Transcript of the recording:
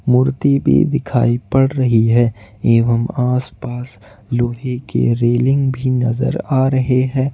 मूर्ती भी दिखाई पड़ रही है एवम् आस पास लोहे की रेलिंग भी नजर आ रहे हैं।